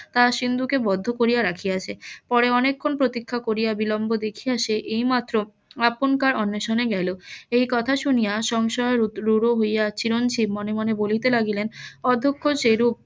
তা সিন্ধুকে বদ্ধ করিয়া রাখিয়াছে পরে অনেক খন প্রতীক্ষা করিয়া বিলম্ব দেখিয়া সে এইমাত্র আপনকার অন্বেষণে গেলো এই কথা শুনিয়া সংশয়ে রূঢ় হয়ে চিরঞ্জিব মনে মনে বলিতে লাগিলেন অদক্ষ সেইরূপ